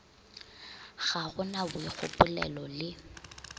ga go na boikgopolelo le